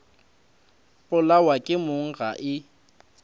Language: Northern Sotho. polawa ke mong ga e